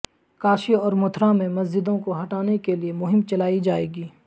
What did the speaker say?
کاشی اور متھرا میں مسجدوں کو ہٹانے کیلئے مہم چلائی جائے گی